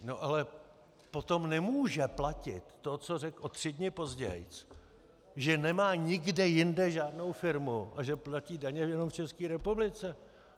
No ale potom nemůže platit to, co řekl o tři dny později, že nemá nikde jinde žádnou firmu a že platí daně jenom v České republice.